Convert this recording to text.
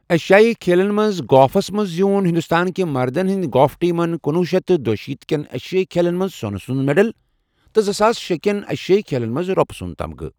ایشیٲیِی کھیلَن منٛز گافس منٛز زیوٗن ہندوستانٕکہِ مردَن ہِنٛدِ گولف ٹیمن کنۄہ شیتھ دیُیشیتھ كین ایشیٲیِی کھیلَن منٛز سونہٕ سُنٛد میڈل تہٕ زٕساس شے كین ایشیٲیِی کھیلَن منٛز رۄپہٕ سُنٛد تمغہٕ ۔